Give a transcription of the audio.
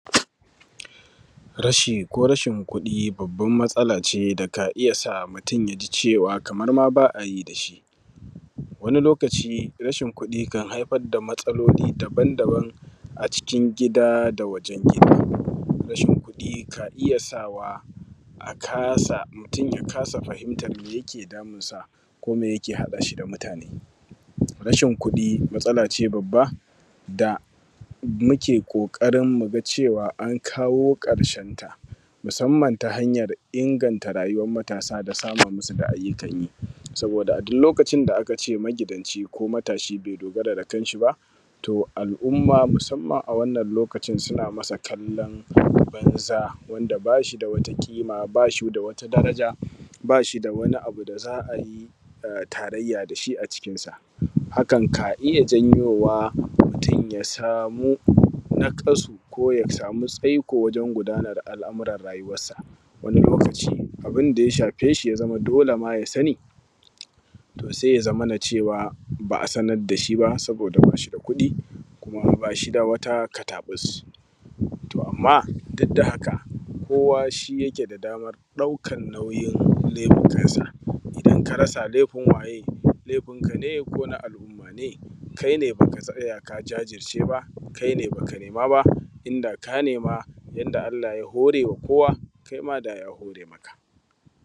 Rashi ko rashin kuɗi babban matsala ce da ka iya mutum ya ji cewa kamar ma ba a yi dashi. Wani lokaci rashin kudi kan haifar da matsaloli dabam dabam a cikin gida da wajen gida, rashin kuɗi ka iya sawa a kasa, mutum ya kasa fahimtar me yake damunsa? Ko me yake haɗa shi da mutane? Rashin kuɗi matsala ce babba da muke ƙoƙarin muga cewa an kawo karshenta, musamman ta hanyar inganta rayuwar matasa da samun musu da ayyukan yi, saboda a duk lokacin da aka ce magidanci ko matashi be dogara da kan shi ba, to al’umma musamman a wannan lokacin suna masa kallon banza wanda ba shi wata ƙima bashi da wata daraja bashi da wani abu da za a yi taraiyya dashi a cikinsa, hakan ka iya janyowa mutum ya samu naƙasu ko ya samu tsaiko wajen gudanar da al’amuran rayuwansa, wani lokaci abinda ya shafe shi ya zama dole ma ya sani to sai ya zamana cewa ba a sanar dashi ba saboda bashi da kuɗi kuma bashi da wata katabus. To amma duk da haka kowa shi yake da damar ɗaukan neman nauyinsa, in ka rasa laifin waye? Laifinka ne ko na abokanai? Kai ne baka tsaya ka jajirce ba kai ne baka nema ba, inda ka nema yanda Allah ya horewa kowa kaima daya hore maka.